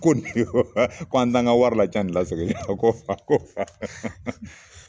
Ko ko an t'an ka wari lacan ni lasegili la, ko fa ko fa